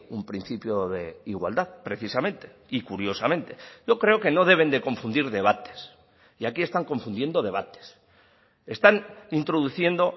un principio de igualdad precisamente y curiosamente yo creo que no deben de confundir debates y aquí están confundiendo debates están introduciendo